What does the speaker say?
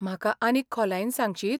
म्हाका आनीक खोलायेन सांगशीत ?